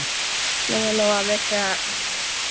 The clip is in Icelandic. Lóa-Lóa vissi það.